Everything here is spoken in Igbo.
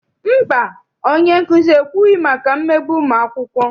Mba, onyenkuzi ekwughị maka mmegbu ụmụakwụkwọ.